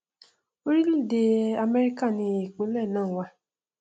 orílẹèdè amẹríkà ni ìpínlẹ náà wà